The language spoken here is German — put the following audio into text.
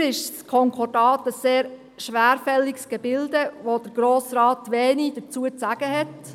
Im Weiteren ist das Konkordat ein sehr schwerfälliges Gebilde, zu welchem der Grosse Rat wenig dazu zu sagen hat.